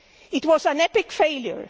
it was an epic failure.